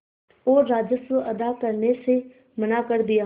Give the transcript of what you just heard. और राजस्व अदा करने से मना कर दिया